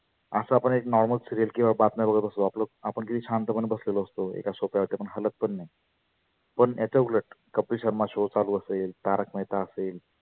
आसं आपण एक normal serial किंवा बातम्या बघत असतो. आपलं आपण किती शांत पण बसलेलो असतो एका sofa वर पण याच्या उलट कपिल शर्मा show चालू असेल, तारक मेहता असेल